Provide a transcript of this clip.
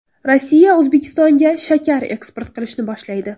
Rossiya O‘zbekistonga shakar eksport qilishni boshlaydi.